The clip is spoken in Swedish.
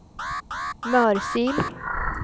Mörsil